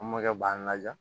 An mɔkɛ b'an laja